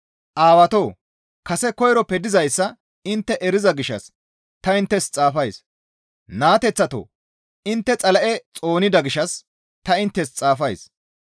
Aawatoo! Kase koyroppe dizayssa intte eriza gishshas ta inttes xaafays; naateththatoo! Intte Xala7e xoonida gishshas ta inttes xaafays.